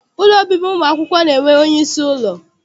Ụlọ obibi ụmụakwụkwọ na-enwe onyeisi ụlọ.